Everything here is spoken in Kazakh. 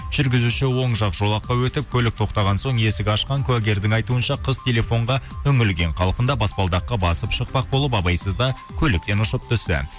жүргізуші оң жақ жолаққа өтіп көлік тоқтаған соң есік ашқан куәгердің айтуынша қыз телефонға үңілген қалпында баспалдаққа басып шықпақ болып абайсызда көліктен ұшып түсті